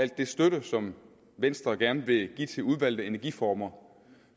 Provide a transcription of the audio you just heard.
den støtte som venstre gerne vil give til udvalgte energiformer